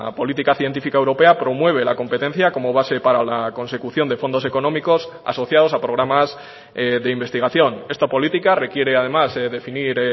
política científica europea promueve la competencia como base para la consecución de fondos económicos asociados a programas de investigación esta política requiere además definir